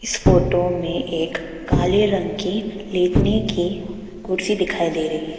Photo में एक काले रंग की लेटने की कुर्सी दिखाई दे रही है।